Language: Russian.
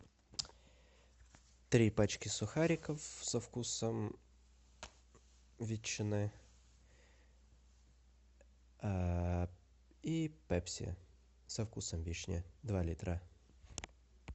три пачки сухариков со вкусом ветчины и пепси со вкусом вишни два литра